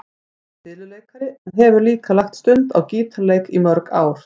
Hann er fiðluleikari en hefur líka lagt stund á gítarleik í mörg ár.